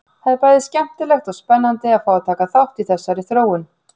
Það er bæði skemmtilegt og spennandi að fá að taka þátt í þessari þróun!